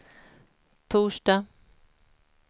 torsdag